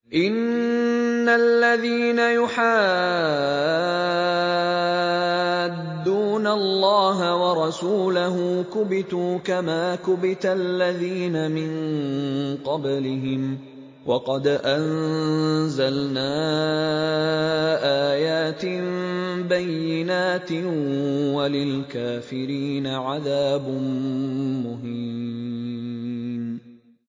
إِنَّ الَّذِينَ يُحَادُّونَ اللَّهَ وَرَسُولَهُ كُبِتُوا كَمَا كُبِتَ الَّذِينَ مِن قَبْلِهِمْ ۚ وَقَدْ أَنزَلْنَا آيَاتٍ بَيِّنَاتٍ ۚ وَلِلْكَافِرِينَ عَذَابٌ مُّهِينٌ